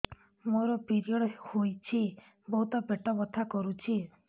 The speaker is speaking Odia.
ମୋର ପିରିଅଡ଼ ହୋଇଛି ବହୁତ ପେଟ ବଥା କରୁଛି